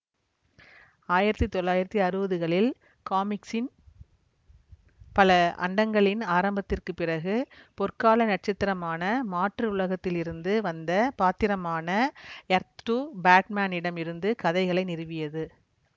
ஆயிரத்தி தொள்ளாயிரத்தி அறுவதுகளில் காமிக்ஸின் பல அண்டங்களின் ஆரம்பத்திற்குப் பிறகு பொற்கால நட்சத்திரமான மாற்று உலகத்திலிருந்து வந்த பாத்திரமான எர்த்டூ பேட்மேனிடம் இருந்து கதைகளை நிறுவியது